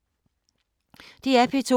DR P2